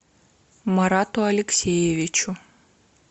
марату алексеевичу